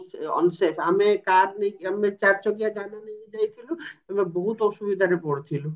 unsafe ଆମେ car ନେଇକି ଆମେ ଚାରିଚକିଆ ଯାନ ନେଇକି ଯାଇଥିଲୁ ଆମେ ବହୁତ ଅସୁବିଧାରେ ପଡିଥିଲୁ